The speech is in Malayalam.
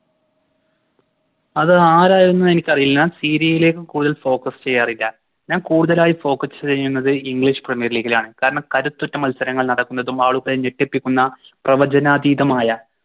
അതാരായിന്നു എനിക്കറിയില്ല ലേക്ക് കൂടുതൽ Focus ചെയ്യാറില്ല ഞാൻ കൂടുതലായി Focus ചെയ്യുന്നത് English premier league ലാണ് കാരണം കരുത്തുറ്റ മത്സരങ്ങൾ നടക്കുന്നതും ആളുകളെ ഞെട്ടിപ്പിക്കുന്ന പ്രവചനാതീതമായ